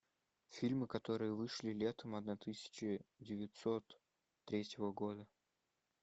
фильмы которые вышли летом одна тысяча девятьсот третьего года